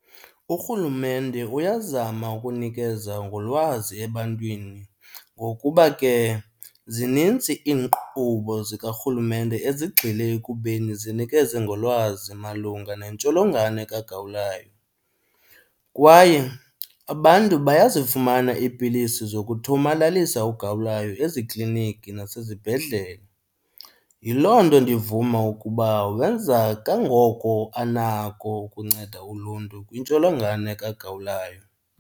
Urhulumente uyazama ukunikeza ngolwazi ebantwini ngokuba ke zinintsi iinkqubo zikarhulumente ezigxile ekubeni zinikeze ngolwazi malunga nentsholongwane kagawulayo. Kwaye abantu bayazifumana iipilisi zokuthomalalisa ugawulayo ezikliniki nasezibhedlele. Yiloo nto ndivuma ukuba wenza kangoko anako ukunceda uluntu kwintsholongwane kagawulayo.